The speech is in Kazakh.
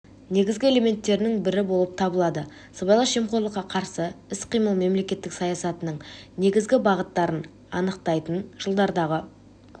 негізгі элементтерінің бірі болып табылады сыбайлас жемқорлыққа қарсы іс-қимыл мемлекеттік саясатының негізгі бағыттарын анықтайтын жылдардағы